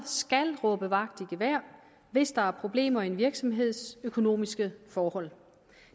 skal råbe vagt i gevær hvis der er problemer med en virksomheds økonomiske forhold